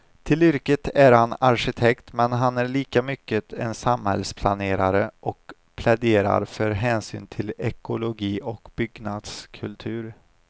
Till yrket är han arkitekt men han är lika mycket en samhällsplanerare och pläderare för hänsyn till ekologi och byggnadskultur.